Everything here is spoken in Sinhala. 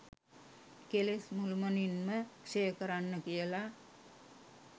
කෙලෙස් මුළුමනින්ම ක්ෂය කරන්න කියල.